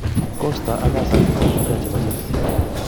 Cost ak hazard ko mashujaa chebo chelsea.